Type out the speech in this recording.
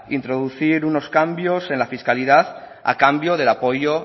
introducir unos cambios en la fiscalidad a cambio del apoyo